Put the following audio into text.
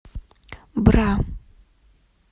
бра